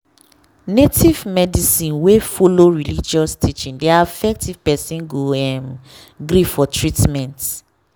native medicine wey follow religious teaching dey affect if person go um gree for treatment.